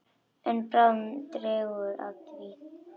En bráðum dregur að því.